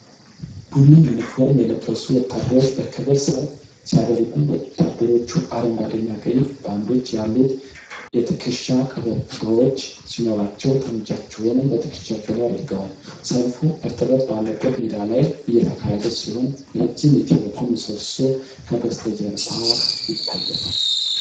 ቡኒ ዩኒፎርም የለበሱ ወታደሮች በክብር ሰልፍ ሲያደርጉ ። ወታደሮቹ አረንጓዴና ቀይ ባንዶች ያሉት የትከሻ ቀበቶዎች ሲኖሯቸው፣ ጠመንጃዎቻቸውን በትከሻቸው ላይ አድርገዋል። ሰልፉ እርጥበት ባለበት ሜዳ ላይ እየተካሄደ ሲሆን፣ ረጅም የቴሌኮም ምሰሶ ከበስተጀርባ ይታያል።